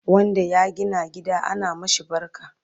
wanda ya gina gida ana mashi barka